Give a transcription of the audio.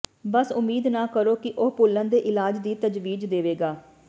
ਬਸ ਉਮੀਦ ਨਾ ਕਰੋ ਕਿ ਉਹ ਭੁੱਲਣ ਦੇ ਇਲਾਜ ਦੀ ਤਜਵੀਜ਼ ਦੇਵੇਗਾ